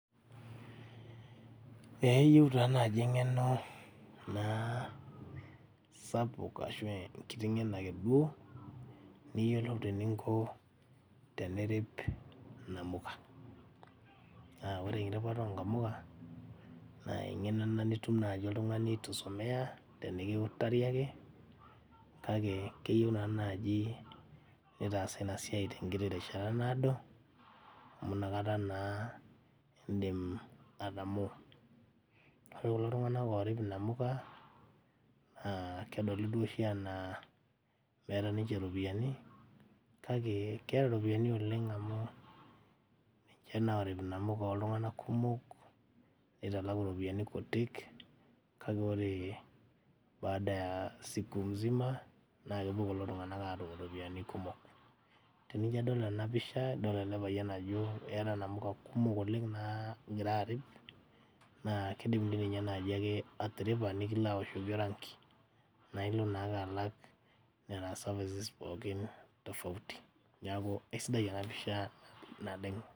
Eyieu taa naaji eng'eno naa sapuk ashu enkiti ng'eno akeduo niyiolou teninko tenirip inamuka naa ore eripata onkamuka naa eng'eno ena nitum naaji oltung'ani itu isomeya tenikiutari ake kake keyieu naa naaji nitaasa ina siai tenkiti rishata naado amu inakata naa indim atamoo ore kulo tung'anak orip inamuka naa kedoli duo oshi anaa meeta ninche iropiyiani kake keeta iropiyiani oleng amu ninche naa orip inamuka oltung'anak kumok neitalaku iropiyiani kutik kake ore baada ya siku mzima naa kepuo kulo tung'anak atum iropiyiani kumok tenijio adol ena pisha idol ele payian ajo eeta inamuka kumok oleng naagira arip naa kidim dii ninye naaji ake atiripa nikilo aoshoki oranki naa ilo naake alak nena services pookin tofauti niaku eisidai ena pisha naleng.